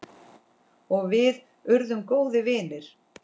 Og við urðum góðir vinir.